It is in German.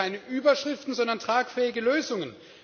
Wir brauchen keine Überschriften, sondern tragfähige Lösungen.